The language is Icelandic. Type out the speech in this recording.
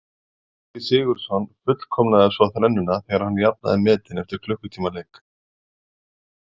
Helgi Sigurðsson fullkomnaði svo þrennuna þegar hann jafnaði metin eftir klukkutíma leik.